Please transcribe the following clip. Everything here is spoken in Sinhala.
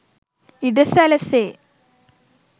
ඉඩ සැලසේ.